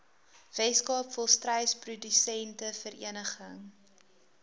weskaap volstruisprodusente vereniging